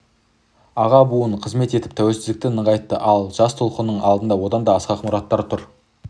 аға буын адал қызмет етіп тәуелсіздікті нығайтты ал жас толқынның алдында одан да асқақ мұраттар тұр